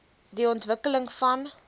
die ontwikkeling van